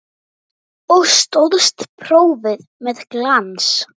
Og stóðst prófið með glans.